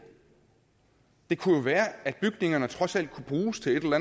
det kunne jo være at bygningerne trods alt kunne bruges til et eller